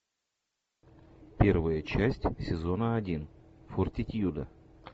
первая часть сезона один фортитьюда